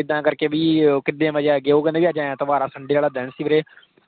ਇੱਦਾਂ ਕਰ ਕੇ ਭੀ ਉਹ ਕਿੰਨੇ ਵਜੇ ਆਣਗੇ ਉਹ? ਉਹ ਕਹਿੰਦੇ ਅੱਜ ਐਤਵਾਰ ਆ, sunday ਵਾਲਾ ਦਿਨ ਸੀ ਵੀਰੇ,